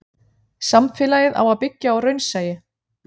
Samfélagið á að byggja á raunsæi.